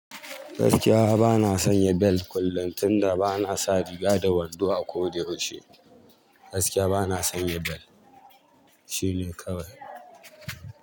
Gaskiya bana sanya bel kullum tunda bana sa riga da wando a koda yaushe. Gaskiya bana sanya bel. Shine kawai.